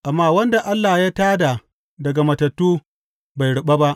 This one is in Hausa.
Amma wanda Allah ya tā da daga matattu bai ruɓa ba.